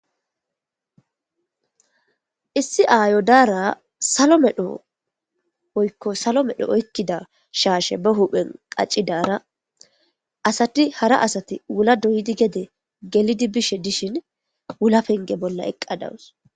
issi aayo daara salo medho oykko salo medho oykkida shaashe ba huphen qaccidaara asati hara asati wula doyidi gede gelidi bishe dishin wula penge bolla eqqadawus